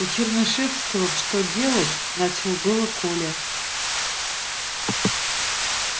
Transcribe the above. у чернышевского в что делать начал было коля